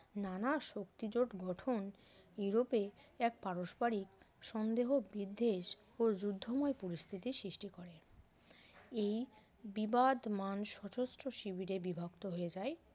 নানা শক্তি জোট গঠন ইউরোপে এক পারস্পারিক সন্দেহ বিদ্বেষ ও যুদ্ধময় পরিস্থিতি সৃষ্টি করে এই বিবাদমান সশস্ত্র শিবিরে বিভক্ত হয়ে যায়